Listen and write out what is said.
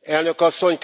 Elnök Asszony,